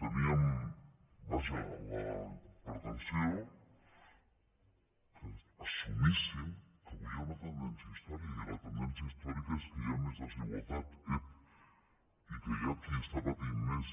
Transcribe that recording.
teníem vaja la pretensió que assumissin que avui hi ha una tendència històrica i la tendència històrica és que hi ha més desigualtat ep i que hi ha qui està patint més